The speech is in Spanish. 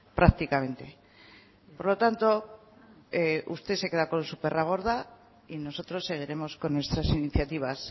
prácticamente por lo tanto usted se queda con su perra gorda y nosotros seguiremos con nuestras iniciativas